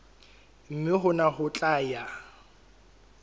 mme hona ho tla ya